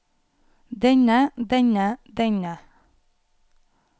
denne denne denne